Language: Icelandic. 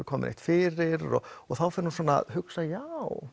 komið fyrir og og þá fer hún að hugsa já